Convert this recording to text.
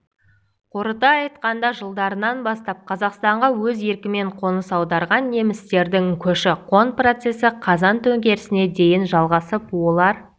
қорыта айтқанда ғасырдың жылдарынан бастап қазақстанға өз еркімен қоныс аударған немістердің көші-қон процесі қазан төңкерісіне дейін жалғасып олар